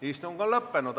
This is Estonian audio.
Istung on lõppenud.